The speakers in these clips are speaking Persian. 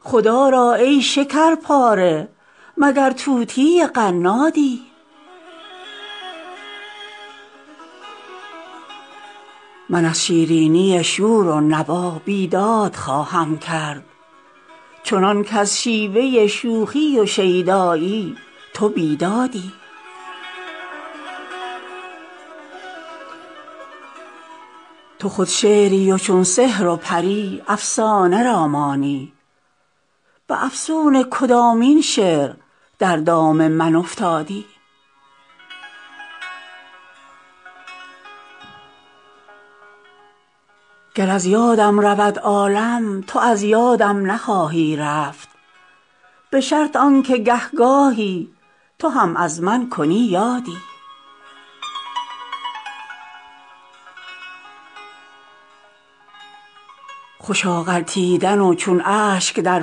خدا را ای شکر پاره مگر طوطی قنادی عروس ماه شاید چون تویی شیرین پسر زاید مگر پرورده دامان حوری یا پریزادی من از شیرینی شور و نوا بیداد خواهم کرد چنان کز شیوه شوخی و شیدایی تو بیدادی تو خود شعری و چون سحر و پری افسانه را مانی به افسون کدامین شعر در دام من افتادی گر از یادم رود عالم تو از یادم نخواهی رفت به شرط آن که گه گاهی تو هم از من کنی یادی خوشا غلطیدن و چون اشک در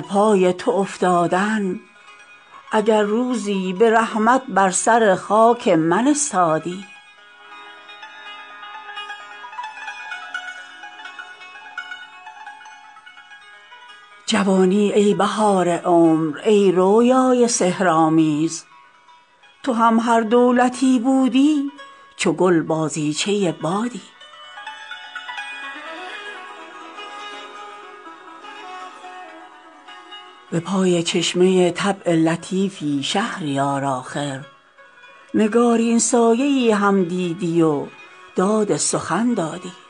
پای تو افتادن اگر روزی به رحمت بر سر خاک من استادی جوانی ای بهار عمر ای رویای سحرآمیز تو هم هر دولتی بودی چو گل بازیچه بادی به پای چشمه طبع لطیفی شهریار آخر نگارین سایه ای هم دیدی و داد سخن دادی